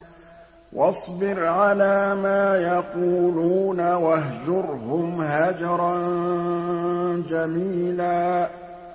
وَاصْبِرْ عَلَىٰ مَا يَقُولُونَ وَاهْجُرْهُمْ هَجْرًا جَمِيلًا